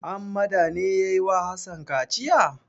Hammada ne ya yi wa Hassan kaciya?